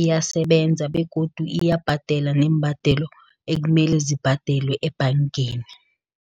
iyasebenza, begodu iyabhadela neembadelo ekumele zibhadelwe ebhangeni.